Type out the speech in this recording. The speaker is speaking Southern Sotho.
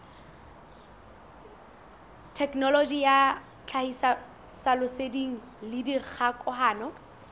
thekenoloji ya tlhahisoleseding le dikgokahano